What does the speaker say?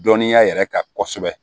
Dɔnniya yɛrɛ kan kosɛbɛ